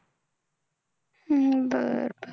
हम्म बरं